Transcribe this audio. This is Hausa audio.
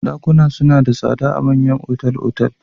Ɗakuna suna da tsada a manyan otal-otal.